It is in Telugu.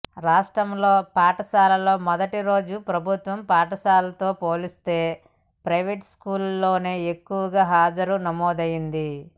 రాష్ట్రంలో పాఠశాలల్లో మొదటిరోజు ప్రభుత్వ పాఠశాలలతో పోల్చితే ప్రైవేట్ స్కూళ్లలోనే ఎక్కువగా హాజరు నమోదైంది